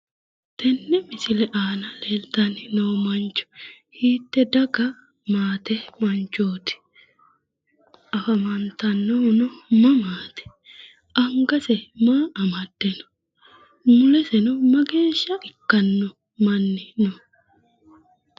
tenne misile aana leeltanno mancho hiitte daga maate manchooti ?afantannohuno mamaati? angase maa amadde no?muleseno mageeshsha ikkanno manni no?